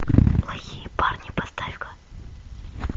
плохие парни поставь ка